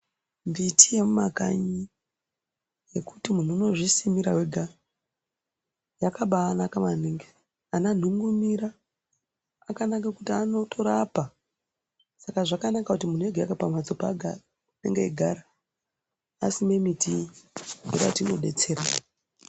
Mbiti yemumakanyi yekuti munhu unozvisimira wega yakaba anaka maningi ananhungumira akanake kuti anotorapa saka zvakanaka kuti munhu ege ega pamhatso paanenge eigara asime miti iyi ngekuti inodetsera.